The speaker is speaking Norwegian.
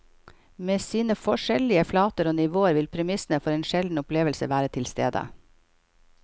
Med sine forskjellige flater og nivåer vil premissene for en sjelden opplevelse være tilstede.